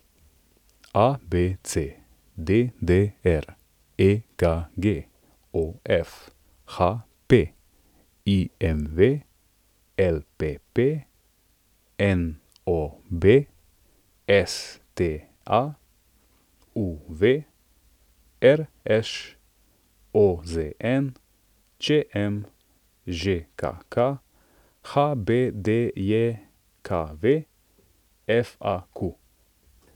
ABC, DDR, EKG, OF, HP, IMV, LPP, NOB, STA, UV, RŠ, OZN, ČM, ŽKK, HBDJKV, FAQ.